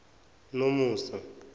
nomusa